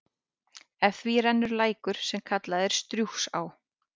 Eftir því rennur lækur, sem kallaður er Strjúgsá.